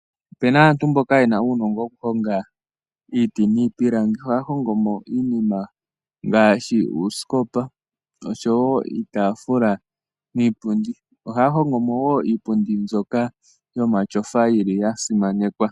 Ope na aantu mboka ye na uunongo wokuhonga iiti niipilangi. Ohaya hongomo iinima ngaashi uusikopa oshowo iitafula niipundi. Ohaya hongo mo wo iipundi mbyoka yomatyofa mbyoka ya simanekwa.